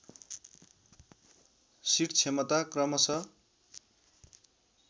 seat क्षमता क्रमश